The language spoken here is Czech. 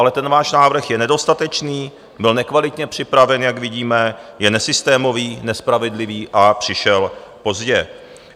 Ale ten váš návrh je nedostatečný, byl nekvalitně připraven, jak vidíme, je nesystémový, nespravedlivý a přišel pozdě.